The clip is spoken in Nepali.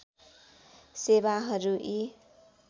सेवाहरू यी